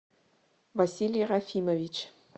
василий рафимович